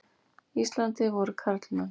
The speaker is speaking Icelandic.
Íslandi voru karlmenn.